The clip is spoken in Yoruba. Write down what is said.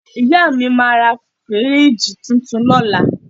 Ìyá mi máa ra fíríìjì tuntun lọ́la